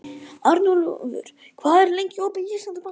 Arnúlfur, hvað er lengi opið í Íslandsbanka?